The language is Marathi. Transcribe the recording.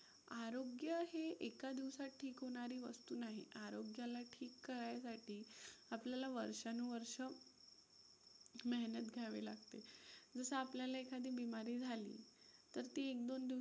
आरोग्य हे एका दिवसात ठीक होणारी वस्तु नाही. आरोग्याला ठीक करायसाठी आपल्याला वर्षानुवर्षं मेहनत घ्यावी लागते. जसं आपल्याला एखादी बीमारी झाली तर ती एक-दोन दिवसात